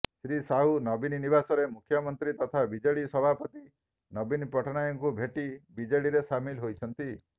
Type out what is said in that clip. ଶ୍ରୀ ସାହୁ ନବୀନ ନିବାସରେ ମୁଖ୍ୟମନ୍ତ୍ରୀ ତଥା ବିଜେଡ଼ି ସଭାପତି ନବୀନ ପଟ୍ଟନାୟକଙ୍କୁ ଭେଟି ବିଜେଡିରେ ସାମିଲ ହୋଇଛନ୍ତି